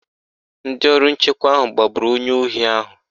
Ndị ọrụ nchekwa ahụ gbagburu onye ohi ahụ.